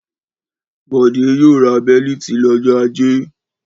Bọ̀dé yóò ra bẹ́lítì lọ́jọ́ ajé.